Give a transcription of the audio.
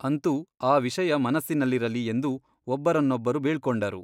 ಅಂತೂ ಆ ವಿಷಯ ಮನಸ್ಸಿನಲ್ಲಿರಲಿ ಎಂದು ಒಬ್ಬರನ್ನೊಬ್ಬರು ಬೀಳ್ಕೊಂಡರು.